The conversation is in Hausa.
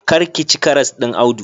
Kar ka ci karas ɗin Audu.